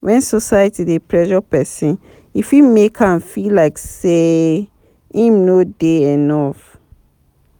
When society dey pressure person e fit make am feel like sey im no dey enough